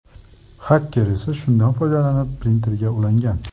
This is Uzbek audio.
Xaker esa shundan foydalanib printerga ulangan.